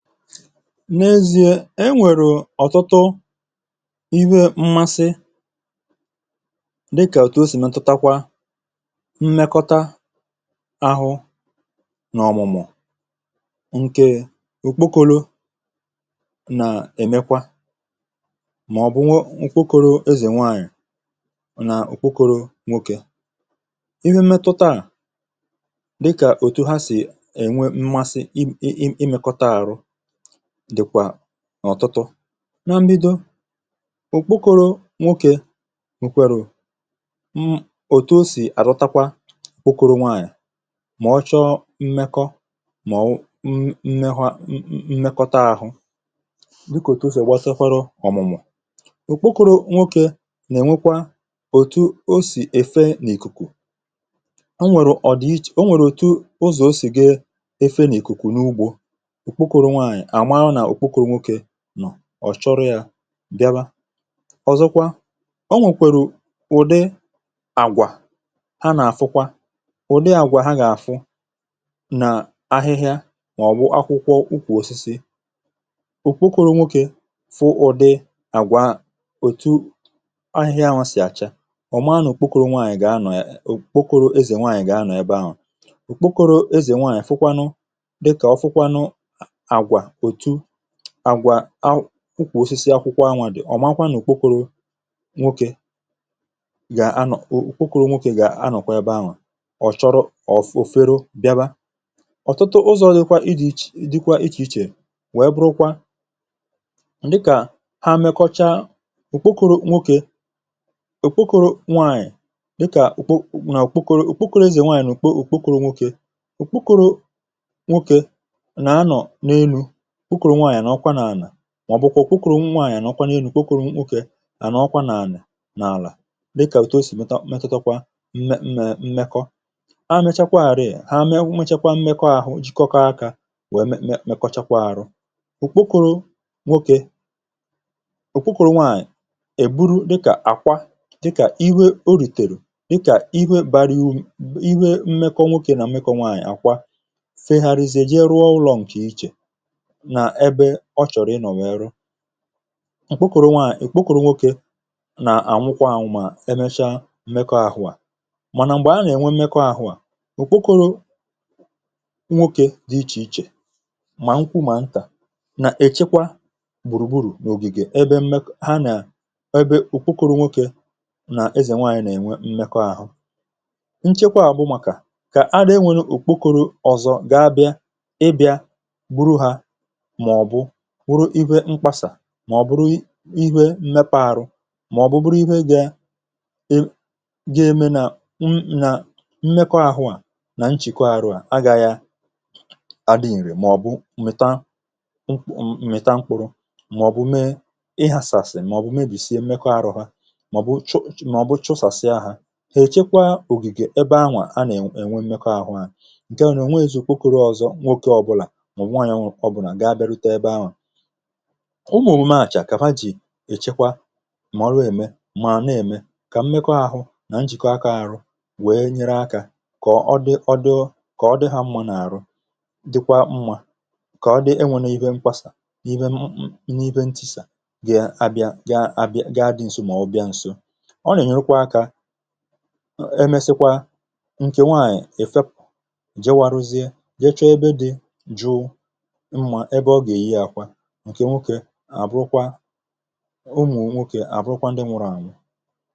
n’ezi̇e e nwèrù ọ̀tụtụ iwe mmasị dịkà òtu o sì metutakwa mmekọta ahụ n’ọ̀mụ̀mụ̀ ǹke okpokoro nà-èmekwa mà ọ̀ bụ ụkwụkoro ezè nwaanyị̀ nà ụkwụkọ̇rọ̇ nwokė ihe metutaà dịkà òtu ha sì ènwe mmasị imėkọta ahụ dịkwà ọ̀tụtụ na mbido òkpukoro nwokė wèkwàrụ̀ m òtù o sì àzọtakwa òkpukuru nwaànyị̀ à mà ọchọ mmekọ mà ọ̀ m mẹkwa mmẹkọta ȧhụ̇ dịkà òtù o sì gbasakwara ọ̀mụ̀mụ̀ òkpukuru nwokė nà-ènwekwa òtù o sì èfe n’ìkùkù o nwèrè ọ̀dịiche o nwèrè òtù ụzọ̀ o sì ga efe n’ìkùkù n’ugbȯ ọ̀ chọrọ yȧ ǹdịaba ọ̀zọkwa o nwèkwèrè ụ̀dị àgwà ha nà-àfụkwa ụ̀dị àgwà ha gà-àfụ nà ahịhịa màọ̀bụ̀ akwụkwọ ukwù osisi ùkpokoro nwokė fụ ụ̀dị àgwà etu ahịhịa nwa sì àcha ọ̀ maa nà òkpokoro ezì nwaànyị̀ gà-anọ̀ ebe ahụ̀ òkpokoro ezì nwaànyị̀ fụkwanụ àgwà akwụkwọ̀ osisi akwụkwọ̀ anwà dị̀ ọ̀ makwa nà òkpokoro nwokė gà-anọ̀ òkpokoro nwokė gà-anọ̀kwa ebe anwà ọ̀ chọrọ̇ of ofere o bịaba ọ̀tụtụ ụzọ̇rụ̇ dịkwa ịdị̇chè dịkwa ichè ichè wee bụrụkwa dịkà ha mẹkọcha òkpokoro nwokė òkpokoro nwaànyị̀ dịkà òkpokoro nwokė òkpokoro ezè nwaànyị̀ òkpokoro nwokė òkpokoro nwokė nà-anọ̀ n’enu̇ màọbụkwa kwukwùrù nwaànyị̀ ànà ọkwanye elu̇ kwukwùrù nkwukė ànà ọkwa nà ànà n’àlà dịkà èto osì metatakwa mmẹ mmekọ ha mechakwa àrịa ị ha mechakwa mmekọ ahụ jikọkọ akȧ wèe me kọchakwa arụ òkpokoro nwokė òkpokoro nwaànyị̀ èburu dịkà àkwa dịkà iwe o rìtèrù dịkà ihe bariu ihe mmekọ nwokė nà mmekọ nwaànyị̀ àkwa fe gharaizie ihe rụọ ụlọ ǹkè ichè ǹkp’ụ̀kụ̀rụ nwaà ìkp’ụ̀kụ̀rụ nwókė nà ànwụkwa ànwụ̀ mà emesha mmekọ̇ àhụ à mànà m̀gbè a nà-ènwe mmekọ̇ àhụ à òkpukoro nwókė dị ichè ichè mà nkwụ mà ntà nà èchekwa gbùrùgburu̇ n’ògìgè ha nà ebe ùkp’ụ̀kụ̀rụ nwokė nà-ezènwe ànyị nà-ènwe mmekọ àhụ nchekwa àbụ màkà kà adị̇enwė ùkp’ụ̀kụ̇rụ̇ ọ̀zọ gà a bịa ịbịȧ màọ̀bụ ihẹ iwe mkpasà màọ̀bụ ruru ihẹ m̀mepe arụ màọ̀bụ bụrụ ihe gị ga-eme nà m nà mmekọ àhụ à nà nchìkwa arụ à agaghị a dị ǹrị̀ màọ̀bụ m̀mịta mkpụrụ màọ̀bụ mee ihàsàsị̀ màọ̀bụ mebìsie mmekọ arụ ha màọ̀bụ ch màọ̀bụ chosàsị ahụ̀ hà èchekwa ògìgè ebe anwà a nà-ènwe mmekọ ahụ̇ hȧ ǹkèa nà ònwe èzùkwukwuru ọ̇zọ nwokė ọbụlà ụmụ̀mụ mȧchà kàma jì èchekwa mà ọrụ ème mà nà-ème kà mmekọ ȧhụ nà njìkọ aka ȧrụ wèe nyere akȧ kà ọ dị ọdụ kà ọ dị hȧ mmȧ n’àrụ dịkwa mmȧ kà ọ dị enwėne ihe mkpasà n’ime m n’ihe ntisà gị abịa ga abịa ga adị nso mà ọ bịa nso ọ nà-ènyerụkwa akȧ e mesikwa ǹkè nwanyị̀ èfe pụ̀ je waruzie je chọ ebe dị jụ ǹkè nwokė àbụrụkwa ụmụ̀ nwokė àbụrụkwa ndị nwėrė anya